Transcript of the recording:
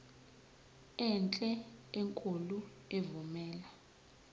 enhle enkulu evumela